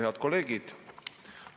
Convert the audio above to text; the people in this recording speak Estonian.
Head kolleegid!